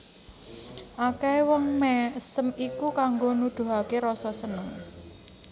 Akèhé wong mèsem iku kanggo nuduhaké rasa seneng